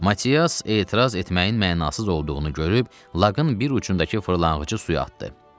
Matias etiraz etməyin mənasız olduğunu görüb, laqın bir ucundakı fırlanğacı suya atdı.